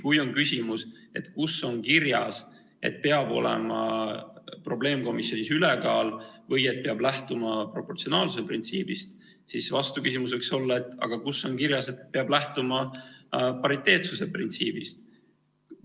Kui on küsimus, et kus on kirjas, et probleemkomisjonis peab olema koalitsiooni ülekaal või et peab lähtuma proportsionaalsuse printsiibist, siis vastuküsimus võiks olla: aga kus on kirjas, et peab lähtuma pariteetsuse printsiibist?